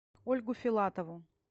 ольгу филатову